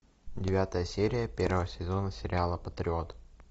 девятая серия первого сезона сериала патриот